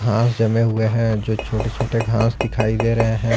घास जमे हुए हैं जो छोटे छोटे घास दिखाई दे रहे हैं।